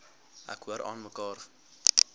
ek hoor aanmekaar